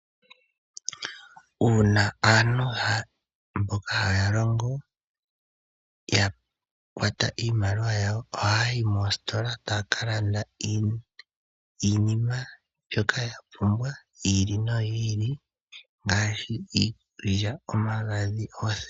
Uuna aantu mboka haya longo ya kwata iinamwenyo yawo ohaya yi moositola taya ka landa iinima mbyoka yapumbwa yi ili noyi ili ngaashi: iikulya, omagadhi, noothewa.